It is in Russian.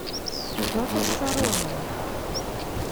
петр соронин